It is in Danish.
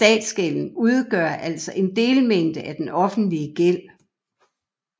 Statsgælden udgør altså en delmængde af den offentlige gæld